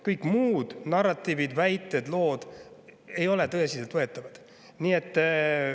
Kõik muud narratiivid, väited, lood ei ole tõsiselt võetavad.